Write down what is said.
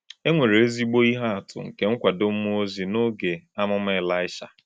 E nwere ezigbo ihe atụ nke nkwado mmụọ ozi n’oge amụma Elisha